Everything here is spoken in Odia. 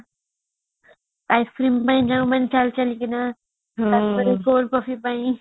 ice cream ଯୋଉ ମାନେ ଚାଲି କିନା ତାପରେ ପୁଣି cold coffee ପାଇଁ